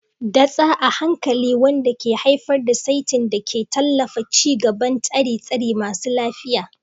datsa a hankali wanda ke haifar da saitin da ke tallafawa ci gaban tsire-tsire masu lafiya.